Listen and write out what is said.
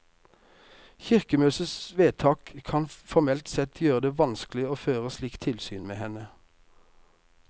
Kirkemøtets vedtak kan formelt sett gjøre det vanskelig å føre slikt tilsyn med henne.